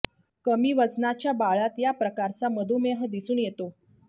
कमी वजनाच्या बाळात या प्रकारचा मधुमेह दिसून येतो